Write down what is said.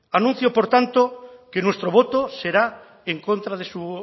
anuncio por tanto que nuestro voto será en contra de su